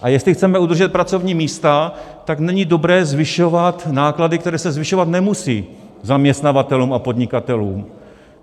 A jestli chceme udržet pracovní místa, tak není dobré zvyšovat náklady, které se zvyšovat nemusí, zaměstnavatelům a podnikatelům.